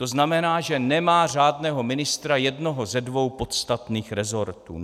To znamená, že nemá řádného ministra jednoho ze dvou podstatných resortů.